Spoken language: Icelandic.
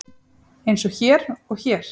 Eins og hér og hér.